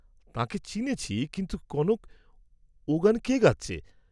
তাঁকে চিনেছি, কিন্তু কনক ও গান কে গাচ্ছে?